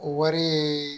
O wari ye